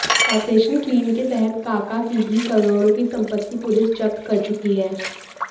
operation clean के तहत काका की भी करोड़ों की संपत्ति पुलिस जब्त कर चुकी है